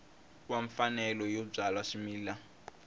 wa mfanelo yo byala swimila